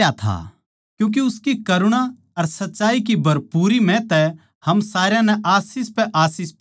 क्यूँके उसकी करुणा अर सच्चाई की भरपूरी म्ह तै हम सारया नै आशीष पै आशीष पाई